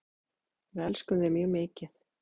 Við elskum þig mjög mikið.